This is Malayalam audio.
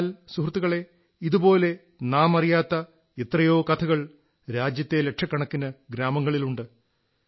എന്നാൽ സുഹൃത്തുക്കളേ ഇതുപോലുള്ള നാം അറിയാത്ത എത്രയോ കഥകൾ രാജ്യത്തെ ലക്ഷക്കണക്കിന് ഗ്രാമങ്ങളിലുണ്ട്